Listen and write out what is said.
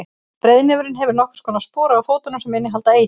breiðnefurinn hefur nokkurs konar spora á fótunum sem innihalda eitur